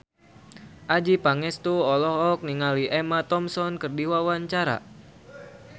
Adjie Pangestu olohok ningali Emma Thompson keur diwawancara